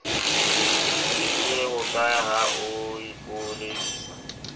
lebisitse hokae ha o ipoledisa